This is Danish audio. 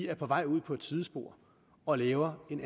er på vej ud på et sidespor og laver en